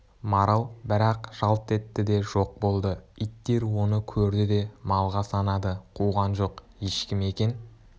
марал бір-ақ жалт етті де жоқ болды иттер оны көрді де малға санады қуған жоқ ешкі ме екен